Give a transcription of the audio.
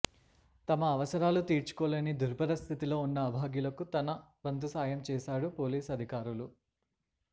తమ అవసరాలు తీర్చుకోలేని దుర్భర స్థితిలో ఉన్న అభాగ్యులకు తన వంతు సాయం చేశాడు పోలీస్ అధికారులు